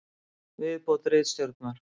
Viðbót ritstjórnar: